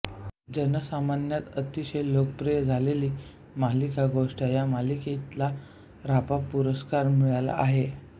जनसामान्यात अतिशय लोकप्रिय झालेली मालिका गोट्या या मालिकेला रापा पुरस्कार मिळाला आहे